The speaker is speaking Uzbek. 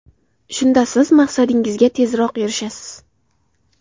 Shunda siz maqsadingizga tezroq erishasiz.